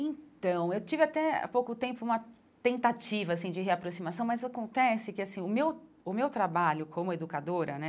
Então, eu tive até há pouco tempo uma tentativa, assim, de reaproximação, mas acontece que, assim, o meu o meu trabalho como educadora, né,